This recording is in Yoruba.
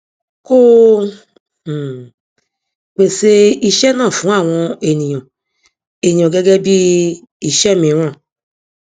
kó o um pèsè iṣẹ náà fún àwọn ènìyàn ènìyàn gẹgẹ bí iṣẹ mìíràn